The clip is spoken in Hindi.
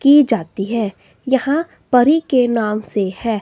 की जाती है। यहां परी के नाम से है।